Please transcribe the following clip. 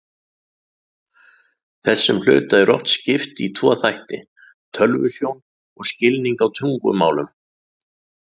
Þessum hluta er oft skipt í tvo þætti, tölvusjón og skilning á tungumálum.